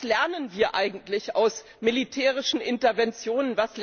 Was lernen wir eigentlich aus militärischen Interventionen?